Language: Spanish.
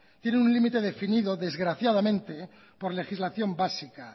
tienen un límite definido desgraciadamente por legislación básica